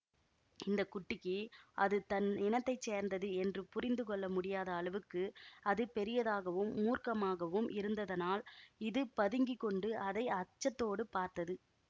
இந்த குட்டிக்கு அது தன் இனத்தை சேர்ந்தது என்று புரிந்து கொள்ள முடியாத அளவுக்கு அது பெரிதாகவும் மூர்க்கமாகவும் இருந்ததனால் இது பதுங்கி கொண்டு அதை அச்சத்தோடு பார்த்தது